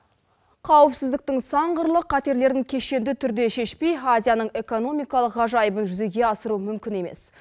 қауіпсіздіктің сан қырлы қатерлерін кешенді түрде шешпей азияның экономикалық ғажайыбын жүзеге асыру мүмкін емес